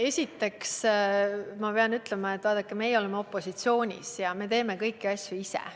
Esiteks ma pean ütlema, et vaadake, meie oleme opositsioonis ja teeme kõiki asju ise.